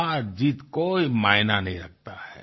हारजीत कोई मायना नहीं रखता है